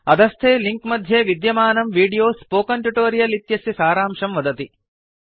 अधस्थे लिंक मध्ये विद्यमानं वीडियो स्पोकन ट्युटोरियल् इत्यस्य सारांशं वदति